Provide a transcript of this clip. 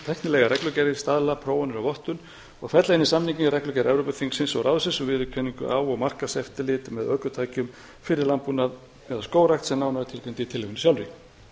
tæknilegar reglugerðir staðla prófanir og vottun og fella inn í samninginn reglugerð evrópuþingsins og ráðsins um viðurkenningu á og markaðseftirlit með ökutækjum fyrir landbúnað eða skógrækt sem nánar er tilgreind í tillögunni sjálfri